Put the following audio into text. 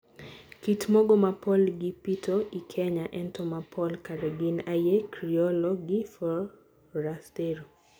Kit mogo mapol gipito i Kenya, ento, ma pol kare gin aye Criollo ki Forastero.